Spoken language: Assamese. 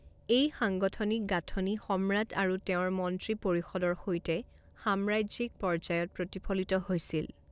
এই সাংগঠনিক গাঁথনি সম্ৰাট আৰু তেওঁৰ মন্ত্ৰী পৰিষদৰ সৈতে সাম্ৰাজ্যিক পৰ্য্যায়ত প্ৰতিফলিত হৈছিল।